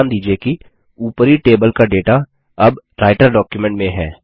ध्यान दीजिये कि ऊपरी टेबल का डेटा अब राइटर डॉक्युमेंट में है